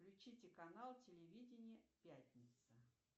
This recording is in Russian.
включите канал телевидения пятница